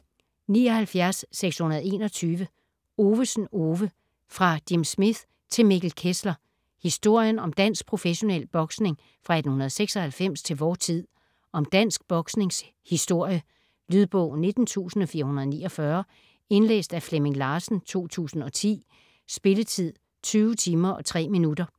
79.621 Ovesen, Ove: Fra Jim Smith til Mikkel Kessler: historien om dansk professionel boksning fra 1896 til vor tid Om dansk boksnings historie. Lydbog 19449 Indlæst af Flemming Larsen, 2010. Spilletid: 20 timer, 3 minutter.